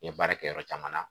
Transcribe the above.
Ye baara kɛ yɔrɔ caman na